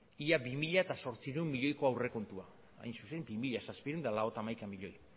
ia bi mila zortziehun milioiko aurrekontua hain zuen bi mila zazpiehun eta laurogeita hamaika milioi